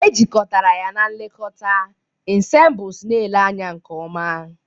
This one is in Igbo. Ejikọtara ya na nlekọta, ensembles na-ele anya nke ọma.